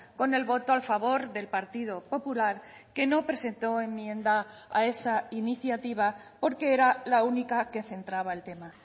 con el voto a favor del partido popular que no presentó enmienda a esa iniciativa porque era la única que centraba el tema